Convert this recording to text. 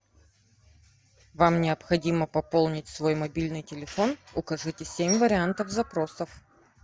вам необходимо пополнить свой мобильный телефон укажите семь вариантов запросов